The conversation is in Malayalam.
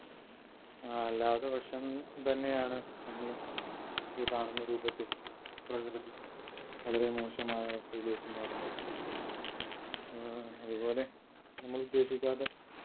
അല്ലാത്ത പക്ഷം തന്നെയാണ് നമ്മള് ഈ കാണുന്ന രൂപത്തിൽ പ്രകൃതി വളരെ മോശമായ അവസ്ഥയിലേക്ക് മാറുന്നത് ഏർ അത്പോലെ നമ്മൾ ഉദ്ദേശിക്കാത്ത